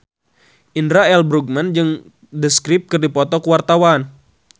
Indra L. Bruggman jeung The Script keur dipoto ku wartawan